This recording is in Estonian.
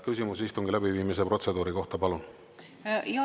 Küsimus istungi läbiviimise protseduuri kohta, palun!